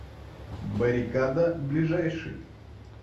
баррикада ближайший